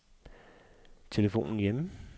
telefon hjemme